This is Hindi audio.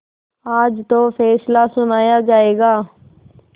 आज तो फैसला सुनाया जायगा